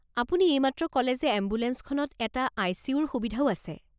আপুনি এইমাত্ৰ ক'লে যে এম্বুলেঞ্চখনত এটা আই চি ইউৰ সুবিধাও আছে।